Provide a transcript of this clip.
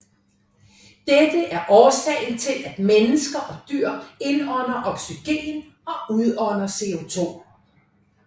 Dette er årsagen til at mennesker og dyr indånder oxygen og udånder CO2